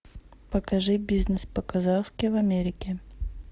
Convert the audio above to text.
покажи бизнес по казахски в америке